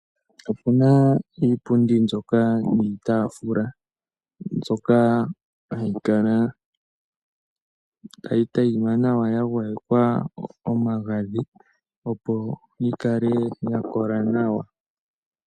Opuna iipundi mbyoka niitafula mbyoka hayi kala tayi tayima nawa ya gwayekwa omagadhi opo yi kale ya kola nawa.